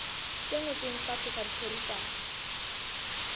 se ngotsweng fatshe sa ditherisano